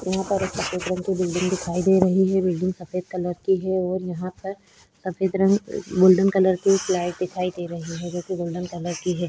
यहां पर एक सफेद रंग की बिल्डिंग दिखाई दे रही है। बिल्डिंग सफेद कलर की है और यहां पर सफेद रंग गोल्डन कलर की एक लाइट दिखाई दे रही है जो कि गोल्डन कलर की है।